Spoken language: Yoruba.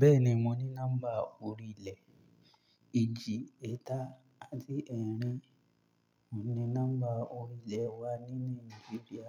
Bẹ́ẹ̀ni, mo ní nọ́mbà ọ̀rìlẹ̀ éjì, eta àti ẹ́rìn. Mo ní nọ́mbà ọ̀rìlẹ̀ wá nílú libya.